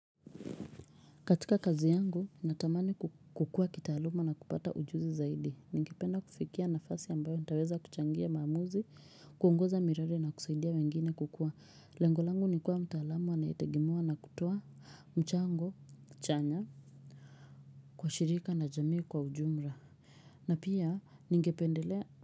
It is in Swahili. Katika kazi yangu, natamani kukua kitaaluma na kupata ujuzi zaidi. Ningependa kufikia nafasi ambayo nitaweza kuchangia maamuzi, kuongoza miradi na kusaidia wengine kukua. Lengolangu nikuwa mtaalamu anayetegimewa na kutoa mchango chanya kwa shirika na jamii kwa ujumra. Na pia, ningependelea.